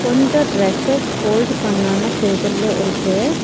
கொஞ்சோ dresses fold பண்ணாம டேபிள்ல இருக்கு.